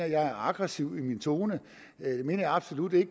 jeg er aggressiv i min tone det mener jeg absolut ikke